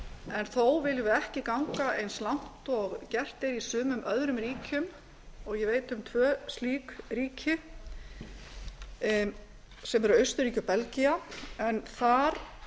en þó viljum við ekki ganga eins langt og gert er í sumum öðrum ríkjum ég veit um tvö slík ríki sem eru austurríki og belgía en þar